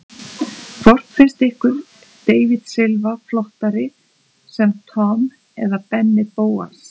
Hvort finnst ykkur David Silva flottari sem Tom eða Benni Bóas?